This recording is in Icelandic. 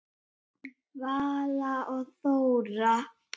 Vala og Þóra.